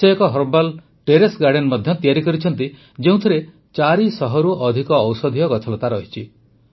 ସେ ଏକ herbal terrace garden ମଧ୍ୟ ତିଆରି କରିଛନ୍ତି ଯେଉଁଥିରେ ୪୦୦ରୁ ଅଧିକ ଔଷଧୀୟ ଗଛଲତା ରହିଛି